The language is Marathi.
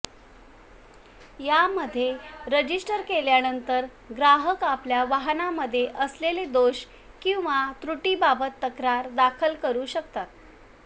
यामध्ये रजिस्टर केल्यानंतर ग्राहक आपल्या वाहनांमध्ये असलेले दोष किंवा त्रुटींबाबत तक्रार दाखल करू शकतात